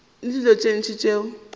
le dilo tše ntši tšeo